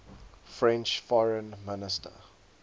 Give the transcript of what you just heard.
french foreign minister